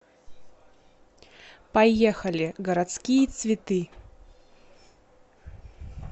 поехали городские цветы